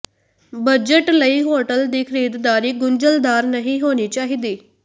budget ਲਈ hotel ਦੀ ਖਰੀਦਦਾਰੀ ਗੁੰਝਲਦਾਰ ਨਹੀਂ ਹੋਣੀ ਚਾਹੀਦੀ